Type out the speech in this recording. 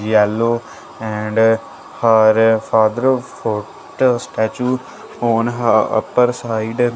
yellow and her father photo statue on her upper side --